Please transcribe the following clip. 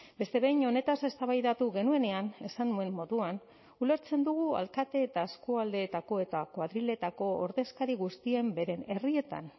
beste behin honetaz eztabaidatu genuenean esan nuen moduan ulertzen dugu alkate eta eskualdeetako eta koadriletako ordezkari guztien beren herrietan